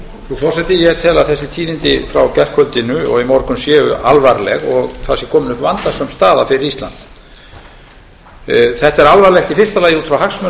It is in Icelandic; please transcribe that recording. forseti ég tel að þessi tíðindi frá gærkvöldi og í morgun séu alvarleg og það sé komin upp vandasöm staða fyrir ísland þetta er alvarlegt í fyrsta lagi út frá hagsmunum